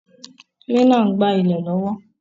Kílínà n gbá ilè lọ́wọ́